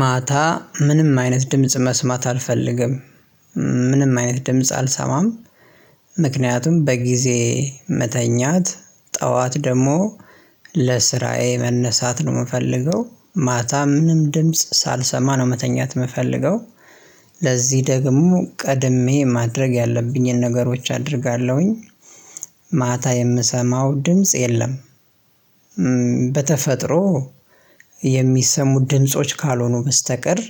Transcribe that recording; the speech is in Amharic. ማታ ምንም አይነት ድምጽ መስማት አልፈልግም ምንም አይነት ድምጽ አልሰማም ምክንያቱም በጊዜ መተኛት ጠዋት ደግሞ ለስራዬ መነሳት ነው ምፈልገው ማታ ምንም ድምጽ ሳልሰማ ነው መተኛት ምፈልገው ለዚህ ደግሞ ቀድሜ ማድረግ ያለብኝን ነገሮች አደርጋለሁኝ ማታ የምሰማው ድምጽ የለም በተፈጥሮ የሚሰሙ ድምጾች ካልሆኑ በስተቀር